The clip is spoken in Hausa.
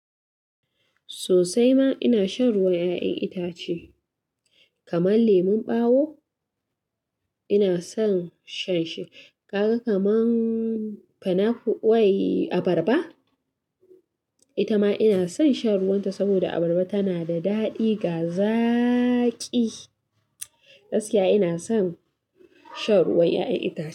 Sosai ma ina shan ruwan 'ya'yan itace kamar lemon ɓawo ina son shan shi. Kaka kamar pineapple wai abarba, ita ma ina son shan ruwan ta saboda abarba tana da daɗi ga zaaƙi. Gaskiya ina son shan ruwan 'ya'yan itace.